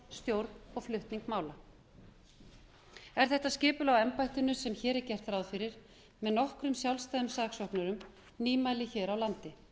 stjórn og flutning mála er þetta skipulag á embættinu sem hér er gert ráð fyrir með nokkrum sjálfstæðum saksóknurum nýmæli hér á landi